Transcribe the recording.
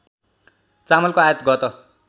चामलको आयात गत